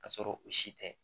Ka sɔrɔ o si tɛ